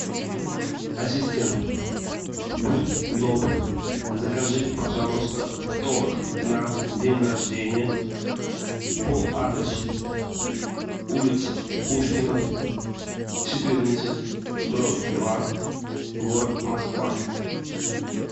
ассистент будь добр закажи пожалуйста торт на день рождения по адресу улица пушкина четырнадцать дробь два город москва